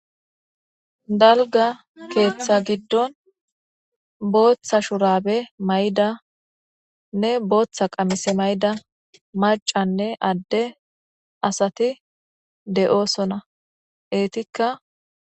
dalga keeththa giddon booththa shurabe maydanne booththa qamise mayda macanne adde asati de7oosona eetikka